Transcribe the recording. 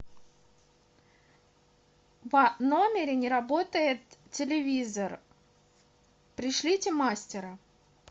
в номере не работает телевизор пришлите мастера